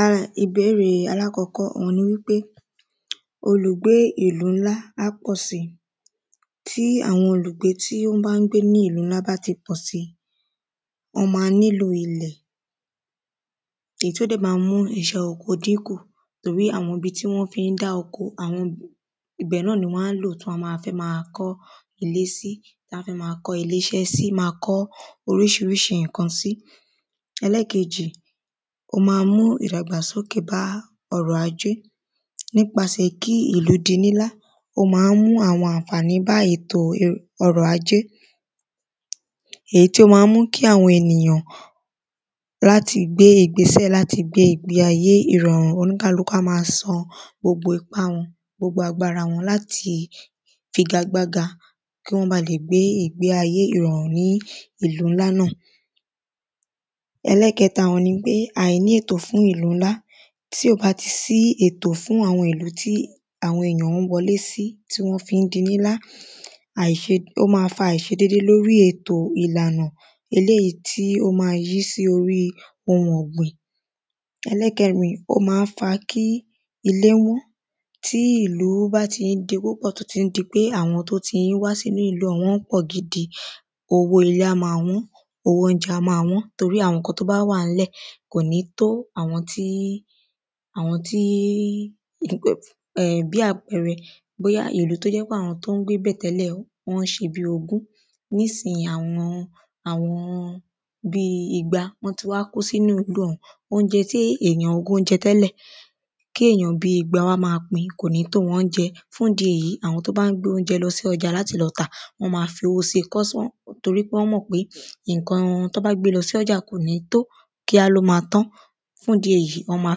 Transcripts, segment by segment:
A ìbẹ́ẹ̀rẹ̀ alákọ́kọ́ òhun ni pé olùgbé ìlú ńlá á pọ̀ sí tí àwọn olùgbé tó bá ń gbé ní ìlú ńlá bá ti pọ̀ sí wọ́n má ń nílò ilẹ̀ èyí tó dẹ̀ má ń mú àwọn iṣẹ́ oko dínkù torí àwọn ibi tán fí ń dá oko ibẹ̀ náà ni wọ́n á lò tí wọ́n á fẹ́ má kọ́ ilé sí tá fi má kọ́ ilé iṣẹ́ sí má kọ́ oríṣiríṣi nǹkan sí. Ẹlẹ́ẹ̀kejì ó má mú ìdàgbàsókè bá ọrọ̀ ajé nípasẹ̀ kí ìlú di ńlá ó má ń mú àwọn ànfàní bá ètò ọrọ̀ ajé èyí tí ó má ń mú kí àwọn ènìyàn wọ́n á ti gbé ìgbésẹ̀ láti gbé ìgbé ayé ìrọ̀rùn oníkálukú á má san gbogbo ipá wọn gbogbo agbára láti figa gbága kí wọ́n bá lè gbé ìgbé ayé ìrọ̀rùn ní ìlú ńlá náà. Ẹlẹ́ẹ̀kẹta nipé a ní ètò fún ìlú ńlá tí ò bá ti sí ètò fún àwọn ìlú tí àwọn ènìyàn ń wọlé sí tí wọ́n fí ń di ńlá àìṣe ó má fa àìṣe dédé lórí ètò ìlànà eléèyí tí ó má yí sí orí ohun ọ̀gbìn. Ẹlẹ́ẹ̀kẹrin ó má ń fa kí ilé wọ́n tí ìlú bá ti di púpọ̀ tó tí ń di pé àwọn tó tí ń wá sínú ìlú un wọ́n pọ̀ gidi owó ilé á má wọ́n owó óúnjẹ á má wọ́n torí àwọn nǹkan tó bá wà ńlẹ̀ kò ní tó àwọn tí àwọn tí um bí àpẹrẹ bóyá ìlú tó jẹ́ pé àwọn tó ń gbé bẹ̀ tẹ́lẹ̀ wọ́n ṣe bí ogún nísìyìí àwọn bí igba wọ́n ti wá kó sí ìlú ọ̀hún óúnjẹ tí èyàn ogún ń jẹ tẹ́lẹ̀ kí èyàn bí igba wá má pín kò ní tó wọn fún ìdí èyí àwọn tí wọ́n bá ń gbé óúnjẹ lọ sí ọjà láti tà wọ́n má fowó sí torí wọ́n mọ̀ pé nǹkan tán bá gbé lọ sọ́jà kò ní tó kíá ló má tán. fún ìdí èyí wọ́n má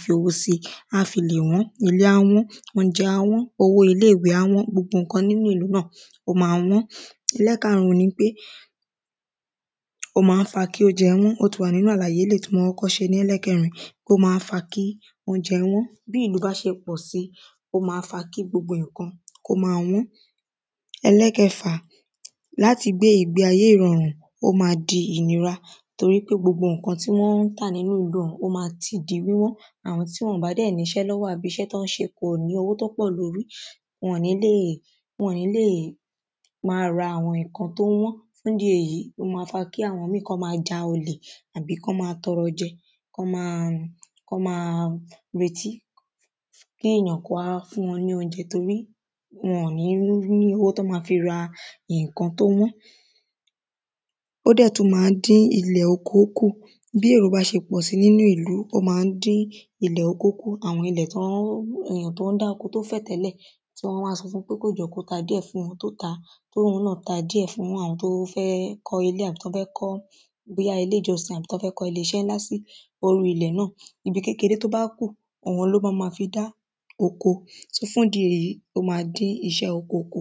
fi owó sí á fi lè wọ́n ilé á wọ́n óúnjẹ á wọ́n owó ilé ìwé á wọ́n gbogbo nǹkan nínú ìlú á wọ́n. Ẹlẹ́ẹ̀karùn ni wípé ó má ń fa kí óúnjẹ wọ́n ó ti wà nínú àlàyé eléèyí tí mo kọ́kọ́ ṣe ní ẹlẹ́ẹ̀kẹrin ó má ń fa kí óúnjẹ wọ́n bí ìlú bá ṣe pọ̀ sí ó má ń fa kí gbogbo nǹkan kó má wọ́n. Ẹlẹ́ẹ̀kẹfà láti gbé ìgbé ayé ìrọ̀rùn ó má di ìnira torí gbogbo nǹkan tí wọ́n ń tà nínú ìlú un ó má ti di wíwọ́n àwọn tí wọn bá dẹ̀ níṣẹ́ lọ́wọ́ tàbí iṣẹ́ tán ń ṣe ò ní owó tó pọ̀ lórí wọn ní lè má ra àwọn nǹkan tó wọ́n fún ìdí èyí àwọn mí wọ́n á má ja olè àbí kán má tọrọ jẹ kán má kán má retí kí èyàn kó wá fún wọn ní óúnjẹ torí wọn ní rówó ra nǹkan tó wọ́n. Ó dẹ̀ tún má ń dín ilẹ̀ oko kù bí èrò bá ṣe pọ̀ sí nínú ìlú ó má ń dín ilẹ̀ oko kù àwọn ilẹ̀ tí wọ́n ń èyàn tán ń dá oko tó fẹ̀ tẹ́lẹ̀ só wọ́n wá sọ fún pé kó jọ̀ọ́ kó ta díẹ̀ fún wọn tó tàá tóhun náà ta díẹ̀ fún àwọn tó fẹ́ kọ́ ilé àbí tán fẹ́ kọ́ bóyá ilé ìjọsìn àbí kán fẹ́ kọ́ ilé iṣẹ́ ńlá sí orí ilẹ̀ náà ibi kékeré tó bá kù òhun ló má má fi dá oko fún ìdí èyí ó má dín iṣẹ́ oko kù.